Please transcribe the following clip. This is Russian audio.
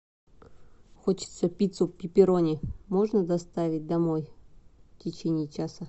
хочется пиццу пепперони можно доставить домой в течении часа